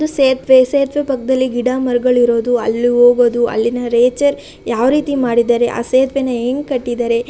ಇದು ಸೇತುವೆ ಸೇತುವೆ ಪಕ್ಕದಲ್ಲಿ ಗಿಡ ಮರಗಳಿರೋದು ಅಲ್ಲಿ ಹೋಗೋದು ಅಲ್ಲಿನ ಯಾವ ರೀತಿ ಮಾಡಿದಾರೆ ಆ ಸೇತುವೆ ನ ಹೆಂಗ್ ಕಟ್ಟಿದಾರೆ --